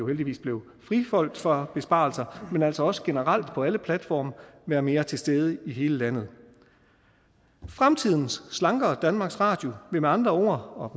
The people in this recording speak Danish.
heldigvis blev friholdt fra besparelser men altså også generelt på alle platforme være mere til stede i hele landet fremtidens slankere danmarks radio vil med andre ord